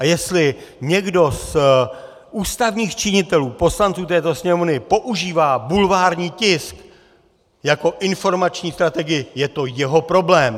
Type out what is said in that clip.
A jestli někdo z ústavních činitelů, poslanců této Sněmovny, používá bulvární tisk jako informační strategii, je to jeho problém!